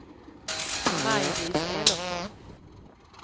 Maj-Lis Elofsson